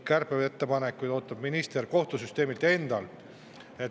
Kärpeettepanekuid ootab minister kohtusüsteemilt endalt.